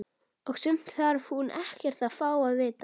Og sumt þarf hún ekkert að fá að vita.